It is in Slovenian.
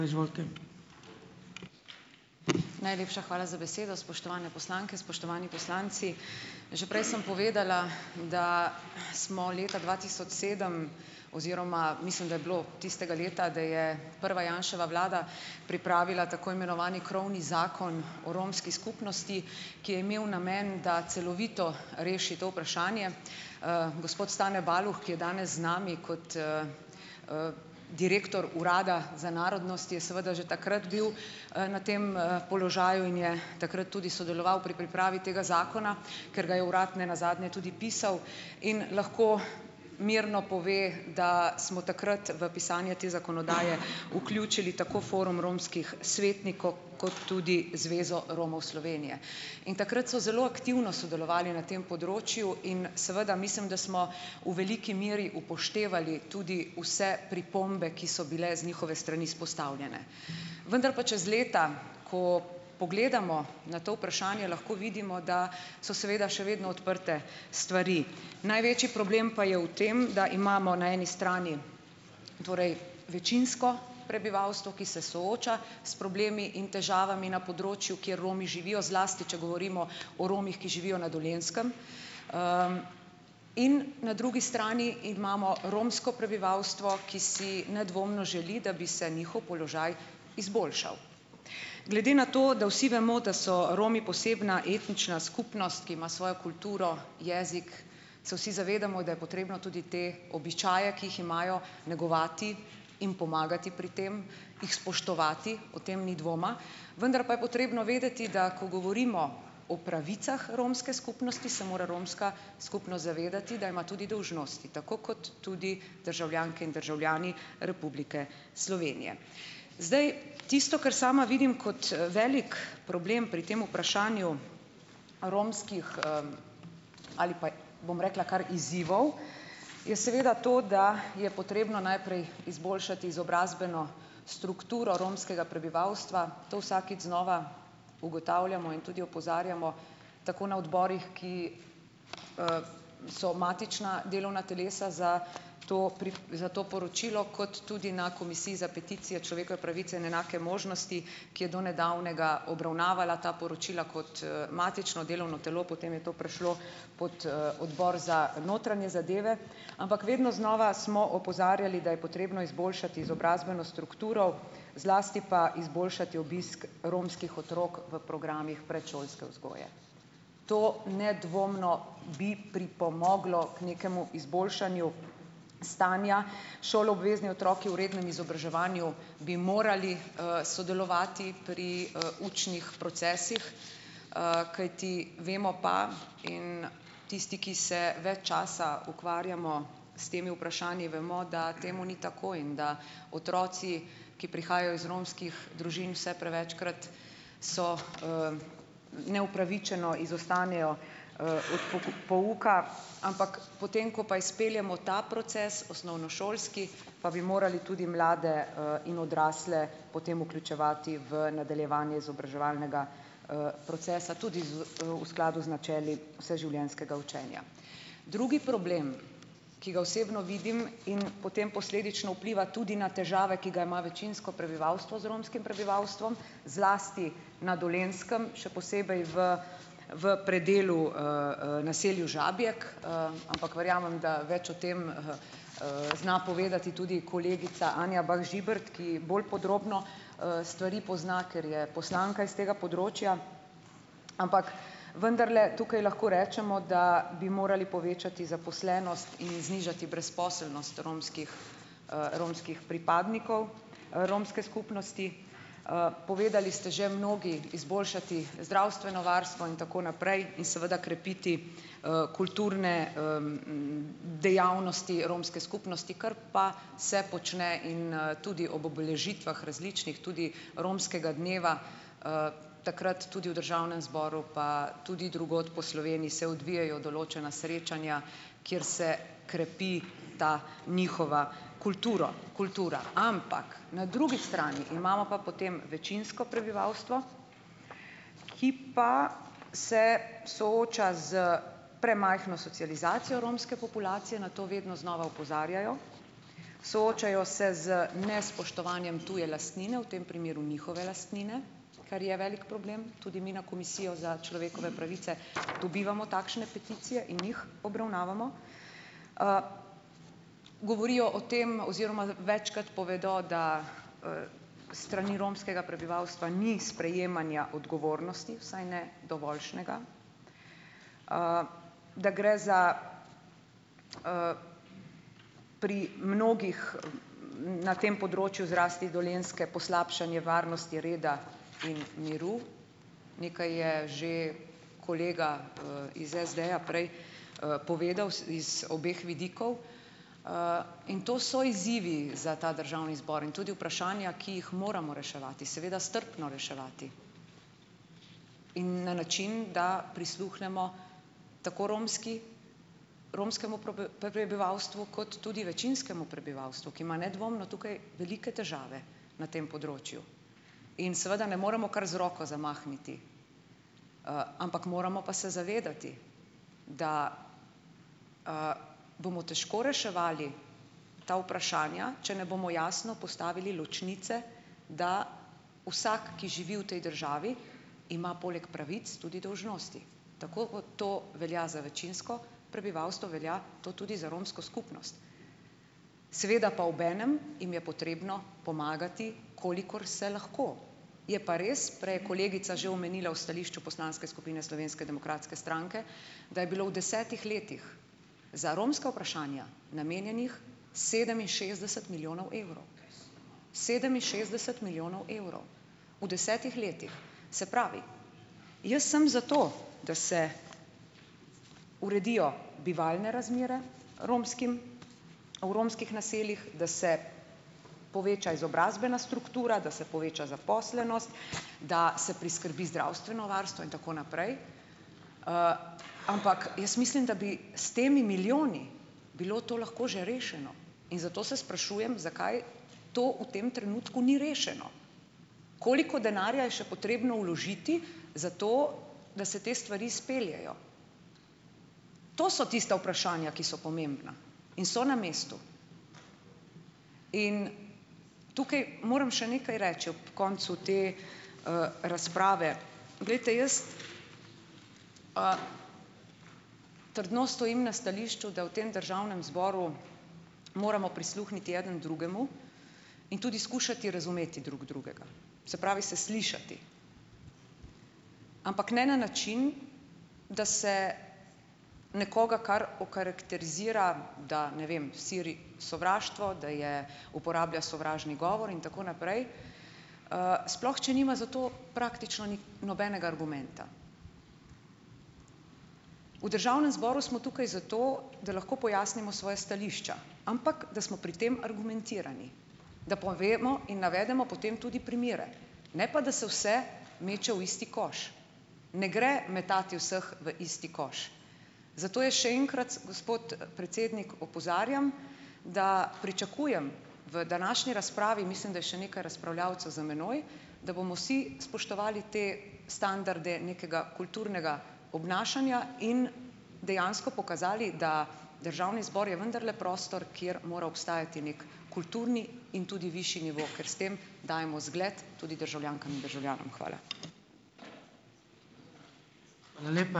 Najlepša hvala za besedo. Spoštovane poslanke, spoštovani poslanci. Že prej sem povedala, da smo leta dva tisoč sedem oziroma mislim, da je bilo tistega leta, da je prva Janševa vlada pripravila tako imenovani krovni zakon o romski skupnosti, ki je imel namen, da celovito reši to vprašanje. gospod Stane Baluh, ki je danes z nami kot, direktor Urada za narodnosti, je seveda že takrat bil, na tem, položaju in je takrat tudi sodeloval pri pripravi tega zakona, ker ga je urad ne nazadnje tudi pisal. In lahko mirno pove, da smo takrat v pisanju te zakonodaje vključili tako Forum romskih svetnikov kot tudi Zvezo Romov Slovenije. In takrat so zelo aktivno sodelovali na tem področju in seveda mislim, da smo v veliki meri upoštevali tudi vse pripombe, ki so bile z njihove strani izpostavljene. Vendar pa čez leta, ko pogledamo na to vprašanje, lahko vidimo, da so seveda še vedno odprte stvari. Največji problem pa je v tem, da imamo na eni strani torej večinsko prebivalstvo, ki se sooča s problemi in težavami na področju, kjer Romi živijo, zlasti če govorimo o Romih, ki živijo na Dolenjskem, in na drugi strani imamo romsko prebivalstvo, ki si nedvomno želi, da bi se njihov položaj izboljšal. Glede na to, da vsi vemo, da so Romi posebna etnična skupnost, ki ima svojo kulturo, jezik, se vsi zavedamo, da je potrebno tudi te običaje, ki jih imajo, negovati in pomagati pri tem, jih spoštovati, o tem ni dvoma, vendar pa je potrebno vedeti, da ko govorimo o pravicah romske skupnosti, se mora romska skupnost zavedati, da ima tudi dolžnosti, tako kot tudi državljanke in državljani Republike Slovenije. Zdaj, tisto, kar sama vidim kot, velik problem pri tem vprašanju romskih, ali pa, bom rekla, kar izzivov, je seveda to, da je potrebno najprej izboljšati izobrazbeno strukturo romskega prebivalstva. To vsakič znova ugotavljamo in tudi opozarjamo tako na odborih, ki, so matična delovna telesa za to za to poročilo, kot tudi na komisiji za peticije, človekove pravice in enake možnosti, ki je do nedavnega obravnavala ta poročila kot, matično delovno telo, potem je to prišlo pot, odbor za notranje zadeve. Ampak vedno znova smo opozarjali, da je potrebno izboljšati izobrazbeno strukturo, zlasti pa izboljšati obisk romskih otrok v programih predšolske vzgoje. To nedvomno bi pripomoglo k nekemu izboljšanju stanja. Šoloobvezni otroci v rednem izobraževanju bi morali, sodelovati pri, učnih procesih, kajti vemo pa in tisti, ki se več časa ukvarjamo s temi vprašanji, vemo, da temu ni tako in da otroci, ki prihajajo iz romskih družin, vse prevečkrat so, neupravičeno izostanejo, od pouka, ampak potem, ko pa izpeljemo ta proces osnovnošolski, pa bi morali tudi mlade, in odrasle potem vključevati v nadaljevanje izobraževalnega, procesa tudi v skladu z načeli vseživljenjskega učenja. Drugi problem, ki ga osebno vidim in potem posledično vpliva tudi na težave, ki ga ima večinsko prebivalstvo z romskim prebivalstvom, zlasti na Dolenjskem, še posebej v v predelu, naselju Žabjek, ampak verjamem, da več o tem, zna povedati tudi kolegica Anja Bah Žibert, ki bolj podrobno, stvari pozna, ker je poslanka iz tega področja. Ampak vendarle tukaj lahko rečemo, da bi morali povečati zaposlenost in znižati brezposelnost romskih, romskih pripadnikov, romske skupnosti. Povedali ste že mnogi - izboljšati zdravstveno varstvo in tako naprej in seveda krepiti, kulturne, dejavnosti romske skupnosti, kar pa se počne in, tudi ob obeležitvah različnih, tudi romskega dneva, takrat tudi v državnem zboru pa tudi drugod po Sloveniji se odvijejo določena srečanja, kjer se krepi ta njihova kulturo kultura. Ampak na drugi strani imamo pa potem večinsko prebivalstvo, ki pa se sooča s premajhno socializacijo romske populacije - na to vedno znova opozarjajo -, soočajo se z nespoštovanjem tuje lastnine - v tem primeru njihove lastnine, kar je velik problem, tudi mi na komisijo za človekove pravice dobivamo takšne peticije in jih obravnavamo. Govorijo o tem oziroma večkrat povedali, da, s strani romskega prebivalstva ni sprejemanja odgovornosti, vsaj ne dovoljšnega. Da gre za - pri mnogih, na tem področju, zlasti Dolenjske - poslabšanje varnosti, reda in miru. Nekaj je že kolega, iz SD-ja prej, povedal z z obeh vidikov. In to so izzivi za ta državni zbor. In tudi vprašanja, ki jih moramo reševati. Seveda, strpno reševati. In na način, da prisluhnemo tako romski - romskemu prebivalstvu kot tudi večinskemu prebivalstvu, ki ima nedvomno tukaj velike težave na tem področju. In seveda ne moremo kar z roko zamahniti. Ampak moramo pa se zavedati, da, bomo težko reševali ta vprašanja, če ne bomo jasno postavili ločnice, da vsak, ki živi v tej državi, ima poleg pravic tudi dolžnosti. Tako kot to velja za večinsko prebivalstvo, velja to tudi za romsko skupnost. Seveda pa obenem jim je potrebno pomagati, kolikor se lahko. Je pa res, prej je kolegica že omenila v stališču poslanske skupine Slovenske demokratske stranke, da je bilo v desetih letih za romska vprašanja namenjenih sedeminšestdeset milijonov evrov. Sedeminšestdeset milijonov evrov. V desetih letih. Se pravi, jaz sem za to, da se uredijo bivalne razmere romskim - v romskih naseljih, da se poveča izobrazbena struktura, da se poveča zaposlenost, da se priskrbi zdravstveno varstvo in tako naprej. Ampak jaz mislim, da bi s temi milijoni bilo to lahko že rešeno. In zato se sprašujem, zakaj to v tem trenutku ni rešeno. Koliko denarja je še potrebno vložiti za to, da se te stvari izpeljejo. To so tista vprašanja, ki so pomembna. In so na mestu. In tukaj moram še nekaj reči, ob koncu te, razprave. Glejte, jaz, trdno stojim na stališču, da v tem državnem zboru moramo prisluhniti eden drugemu in tudi skušati razumeti drug drugega. Se pravi, se slišati. Ampak ne na način, da se nekoga kar okarakterizira, da, ne vem, širi sovraštvo, da je uporablja sovražni govor in tako naprej, sploh če nima za to praktično nobenega argumenta. V državnem zboru smo tukaj zato, da lahko pojasnimo svoja stališča. Ampak da smo pri tem argumentirani. Da povemo in navedemo potem tudi primere. Ne pa da se vse meče v isti koš. Ne gre metati vseh v isti koš. Zato jaz še enkrat s, gospod, predsednik, opozarjam, da pričakujem v današnji razpravi - mislim, da je še nekaj razpravljavcev za menoj - da bomo vsi spoštovali te standarde nekega kulturnega obnašanja in dejansko pokazali, da državni zbor je vendarle prostor, kjer mora obstajati neki kulturni in tudi višji nivo. Ker s tem dajemo zgled tudi državljankam in državljanom. Hvala.